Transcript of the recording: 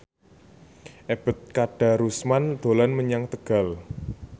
Ebet Kadarusman dolan menyang Tegal